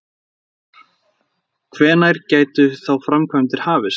Kristján Már: Hvenær gætu þá framkvæmdir hafist?